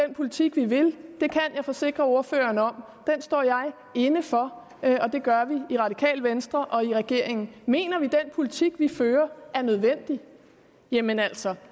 den politik vi vil det kan jeg forsikre ordføreren om den står jeg inde for og det gør vi i radikale venstre og i regeringen mener vi den politik vi fører er nødvendig jamen altså